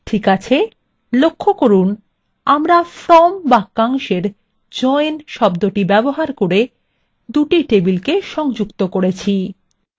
ঠিক আছে লক্ষ্য from আমরা from বাক্যাংশএর join শব্দ ব্যবহার করে দুটি টেবিলকে সংযুক্ত করেছি